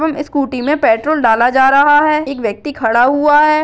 हम स्कूटी मे पेट्रोल डाला जा रहा है एक व्यक्ति खड़ा हुआ है।